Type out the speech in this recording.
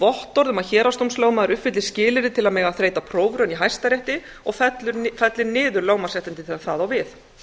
vottorð um að héraðsdómslögmaður uppfylli skilyrði til að mega þreyta prófraun í hæstarétti og falli niður þau lögmannsréttindi þegar það á við